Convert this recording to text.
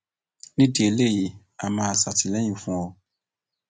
nídìí eléyìí á máa ṣàtìlẹyìn fún ọ